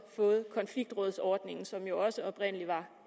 fået konfliktrådsordningen som jo også oprindelig var